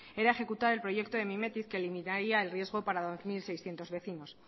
era ejecutar el proyecto de mimetiz que limitaría el riesgo para dos mil seiscientos vecinos